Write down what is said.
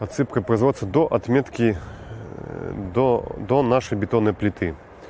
отсыпка производства до отметки до до нашей бетонной плиты